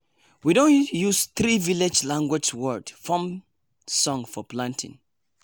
we don use three village language word form song for planting.